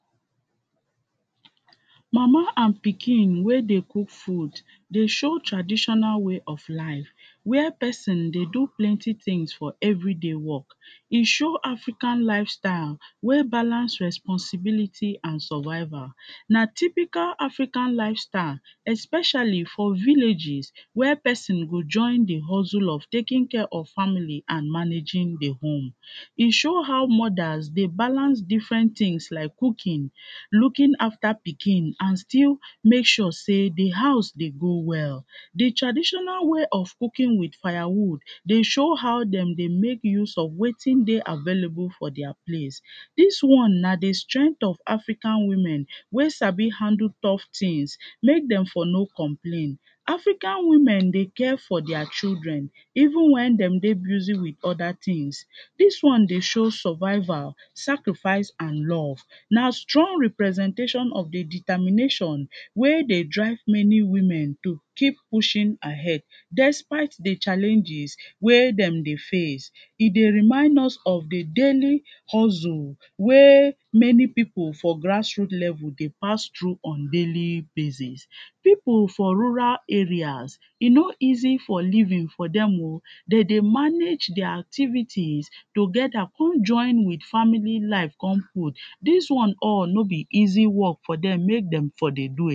Mama and pikin wey dey cook food dey show traditional way of life Where person dey do plenty things for every day work E show African lifestyle wey balance responsibilty and survival Na typical African lifestyle especially for villages where person go join im hustle of taking care of family and managing di home E show how mothers dey balance different things like cooking looking after pikin and still make sure sey di house dey go well Di traditonal way of cooking with firewood, dey show how dem dey make use of wetin dey available for their place Dis one na di strength of African women wey sabi handle tough things make dem for no complain. African women dey care for their children even wen dem dey busy with other things. Dis one dey show survival sacrifice and love. Na strong representation of di determination wey dey drive many women to keep pushing ahead despite di challaenges wey dem dey face, e dey remind us of di daily hustle wey many people for grass root level dey pass through on daily basis People for rural area e no easy for living for dem Dem dey manage their activities together come join di family life come put Dis one all no be easy work for dem make dem for dey do